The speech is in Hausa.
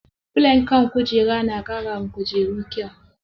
Filon kan kujera na ƙara wa kujeru kyau.